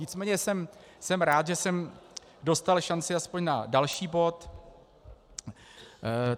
Nicméně jsem rád, že jsem dostal šanci aspoň na další bod.